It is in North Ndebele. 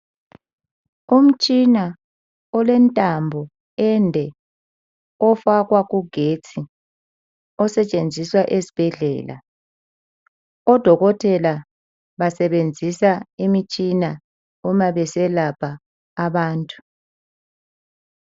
Umtshina olentambo ende ofakwa kugetsi osetshenziswa ezibhedlela odokotela basebenzisa imitshina uma beselapha abantu.